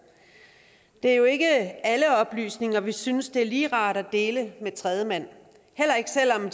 det er jo ikke alle oplysninger vi synes det er lige rart at dele med tredjemand heller ikke selv om